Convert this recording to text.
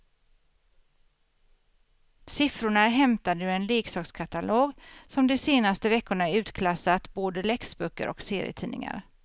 Siffrorna är hämtade ur en leksakskatalog som de senaste veckorna utklassat både läxböcker och serietidningar.